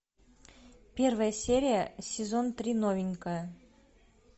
первая серия сезон три новенькая